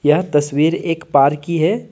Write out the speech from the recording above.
यह तस्वीर एक पार्क की है।